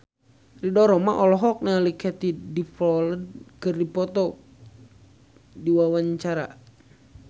Ridho Roma olohok ningali Katie Dippold keur diwawancara